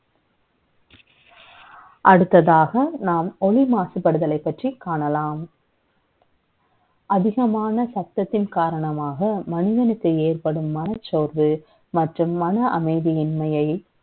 அடுத்ததாக, நாம் ஒலி மாசுபடுதலை பற்றி காணலாம். அதிகமான சத்தத்தின் காரணமாக, மனிதனுக்கு ஏற்படும் மனச்ச ோர்வு, மற்றும் மன அமை தியின்மையை